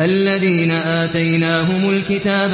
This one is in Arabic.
الَّذِينَ آتَيْنَاهُمُ الْكِتَابَ